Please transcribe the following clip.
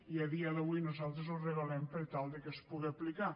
i a dia d’avui nosaltres ho regulem per tal que es puga aplicar